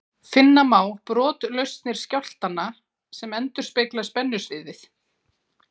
Finna má brotlausnir skjálftanna sem endurspegla spennusviðið.